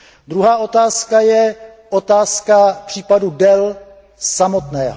Druhá otázka je otázka případu Dell samotného.